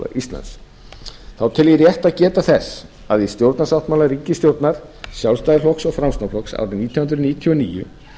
íslands þá tel ég rétt að geta þess að í stjórnarsáttmála ríkisstjórnar sjálfstæðisflokks og framsóknarflokks árið nítján hundruð níutíu og níu